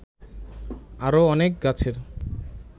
আরো অনেক গাছের